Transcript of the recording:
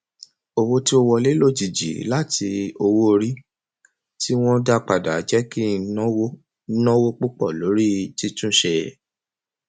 owó tí ó wọlé lójijì láti owóorí tí wọn dá padà jẹ kí n náwó náwó púpọ lórí títúnṣe